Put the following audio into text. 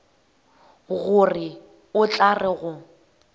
gore o tla re go